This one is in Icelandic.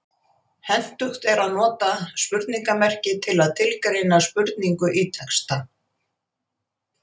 Hentugt er að nota spurningarmerki til að tilgreina spurningu í texta.